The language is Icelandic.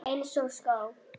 Eins og skó.